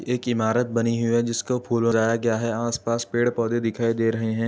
एक इमारत बनी हुई है जिसको फूल लगाया गया है आस पास पेड़ पौधे दिखाई दे रहे हैं।